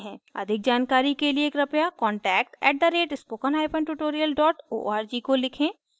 अधिक जानकारी के लिए कृपया contact @spokentutorial org को लिखें